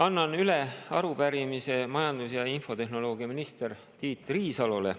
Annan üle arupärimise majandus- ja infotehnoloogiaminister Tiit Riisalole.